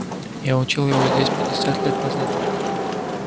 я учил его здесь пятьдесят лет назад